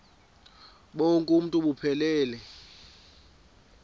bonk uuntu buphelele